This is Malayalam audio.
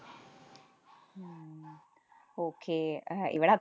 okay അഹ് ഇവിടെ അ~